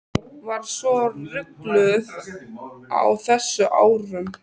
Var svo ringluð á þessum árum.